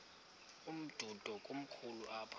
umdudo komkhulu apha